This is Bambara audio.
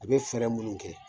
A bɛ fɛɛrɛ minnu kɛ.